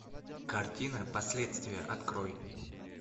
картина последствия открой